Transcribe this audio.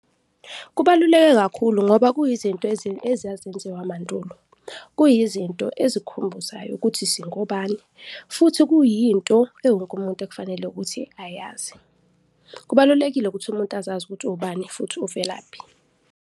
Kubaluleke kakhulu ngoba kuyizinto ezazenziwa mandulo. Kuyizinto ezikukhumbuzayo ukuthi singobani futhi kuyinto ewonke umuntu ekufanele ukuthi ayazi. Kubalulekile ukuthi umuntu uzazi ukuthi uwubani futhi uvelaphi.